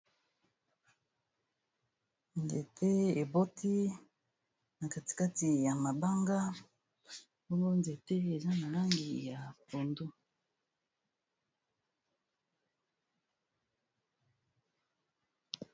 Nzete eboti na katikati ya mabanga bongo nzete eza na langi ya pondou.